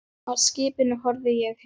Af skipinu horfi ég heim.